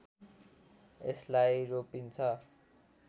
यसलाई रोपिन्छ